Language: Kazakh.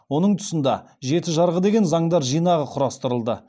оның тұсында жеті жарғы деген заңдар жинапы құрастырылды